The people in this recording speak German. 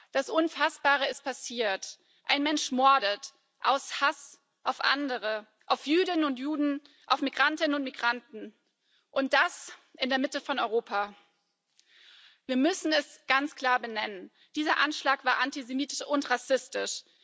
Das Unfassbare ist passiert Ein Mensch mordet aus Hass auf andere auf Jüdinnen und Juden, auf Migrantinnen und Migranten und das in der Mitte von Europa. Wir müssen es ganz klar benennen Dieser Anschlag war antisemitisch und rassistisch.